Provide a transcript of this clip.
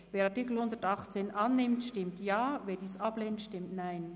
Wer den Artikel 118 annimmt, stimmt Ja, wer diesen ablehnt, stimmt Nein.